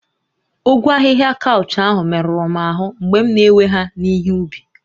Ogwu ahihia kaụch ahụ merụrụ m ahụ́ mgbe m na-ewe ha n'ihe ubi